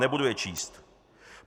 Nebudu je číst.